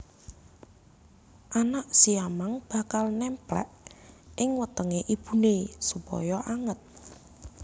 Anak siamang bakal némplék ing wetengé ibuné supaya anget